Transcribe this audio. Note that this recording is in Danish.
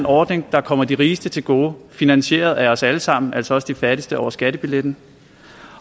ordning der kommer de rigeste til gode finansieret af os alle sammen altså også de fattigste over skattebilletten